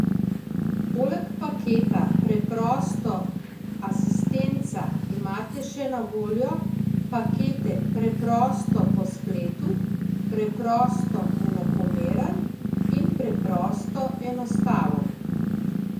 Poleg paketa Preprosto asistenca imate še na voljo pakete Preprosto po spletu, Preprosto enakomeren in Preprosto enostaven.